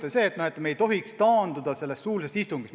Põhimõte on see, et me ei tohiks taanduda suulisest istungist.